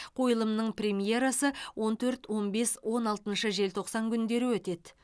қойылымның премьерасы он төрт он бес он алтыншы желтоқсан күндері өтеді